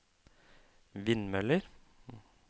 vindmøller